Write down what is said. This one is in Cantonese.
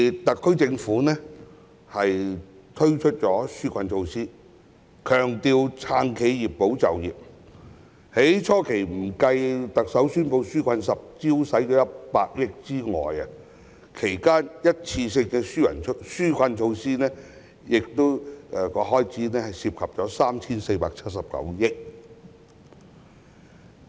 特區政府因而推出紓困措施，強調"撐企業、保就業"，不計特首初期宣布"紓困十招"的100億元，這段期間的一次性紓困措施開支涉及合共 3,479 億元。